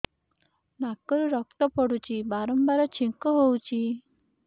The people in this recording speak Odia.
ନାକରୁ ରକ୍ତ ପଡୁଛି ବାରମ୍ବାର ଛିଙ୍କ ହଉଚି